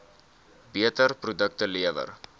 beter produkte lewer